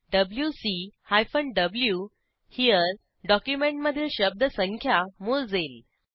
WC hyphen V हेरे document मधील शब्द संख्या मोजेल